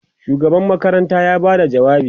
shugaban makaranta ya Bada jawabi